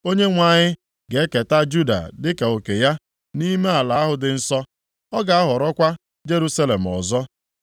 Onyenwe anyị ga-eketa Juda dịka oke ya nʼime ala ahụ dị nsọ. Ọ ga-ahọrọkwa Jerusalem ọzọ.